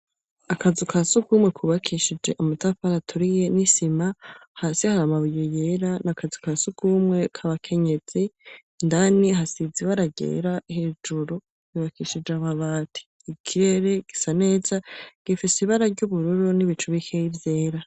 Akazu ka sugumwe kubakishije amatafari aturiye n'isima. hasi hari amabuye yera n'akazu kasugumwe k'abakenyezi, indani hasizwe ibara ryera, hejuru hubakishije amabati ikirere gisa neza gifise ibara ry'ubururu n'ibicu bikeya vyera.